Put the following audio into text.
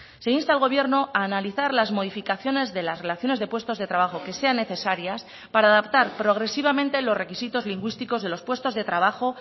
se insta al gobierno a analizar las modificaciones de las relaciones de puestos de trabajo que sean necesarias para adaptar progresivamente los requisitos lingüísticos de los puestos de trabajo